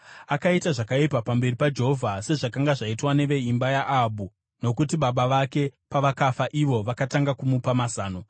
Akaita zvakaipa pamberi paJehovha sezvakanga zvaitwa neveimba yaAhabhu nokuti baba vake pavakafa, ivo vakatanga kumupa mazano.